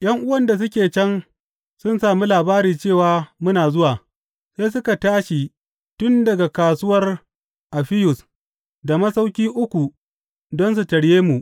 ’Yan’uwan da suke can sun sami labari cewa muna zuwa, sai suka tashi tun daga Kasuwar Affiyus da Masauƙi Uku don su tarye mu.